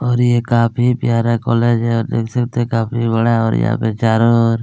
और ये काफी प्यारा कॉलेज है देख सकते है काफी बड़ा और यहाँ पर चारो ओर--